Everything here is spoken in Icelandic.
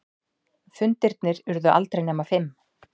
Fundirnir urðu aldrei nema fimm.